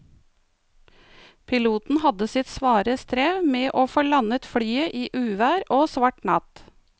Piloten hadde sitt svare strev med å få landet flyet i uvær og svart natt.